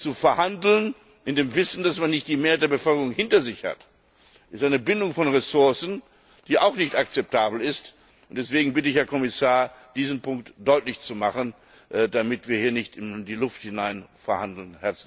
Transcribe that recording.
Zu verhandeln in dem Wissen, dass man nicht die Mehrheit der Bevölkerung hinter sich hat, ist eine Bindung von Ressourcen, die auch nicht akzeptabel ist, und deshalb bitte ich, Herr Kommissar, diesen Punkt deutlich zu machen, damit wir hier nicht in die Luft hinein verhandeln.